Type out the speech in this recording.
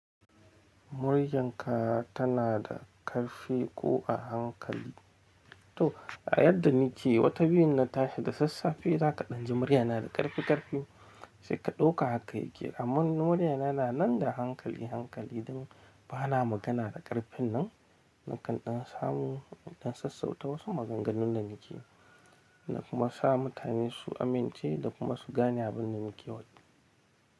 Murya ka tana da ƙarfi ko a hankali? To, a yadda ni ke yi, wata biyu na tashi da sassafe, za ka ɗan ji murya na da ƙarfi ƙarfi, sai ka ɗauka haka yake. Amma murya na na nan da hankali hankali don ba na magana da ƙarfin nan, na kanɗan samu don sassauta wasu maganganun da ni ke yi na kuma sa mutane su amince da kuma su gane abin da ni ke yi.